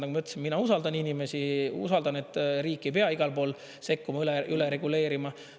Nagu ma ütlesin, mina usaldan inimesi, usaldan, et riik ei pea igal pool sekkuma, üle reguleerima.